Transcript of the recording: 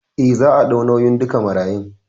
Eh, za a ɗau nauyin duka marayun